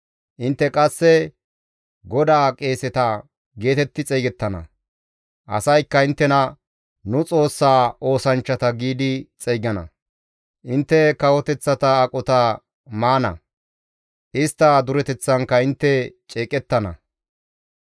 Intte qasse, «GODAA qeeseta» geetetti xeygettana; asaykka inttena, «Nu Xoossaa oosanchchata» giidi xeygana; intte kawoteththata aqota maana; istta dureteththankka intte ceeqettana.